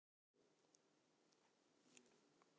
Að mörgu leyti minnir hún á